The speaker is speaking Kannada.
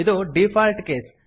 ಇದು ಡಿಫಾಲ್ಟ್ ಕೇಸ್